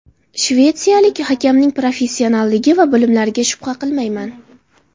Shvetsiyalik hakamning professionalligi va bilimlariga shubha qilmayman.